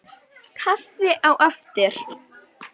Kaffi á eftir.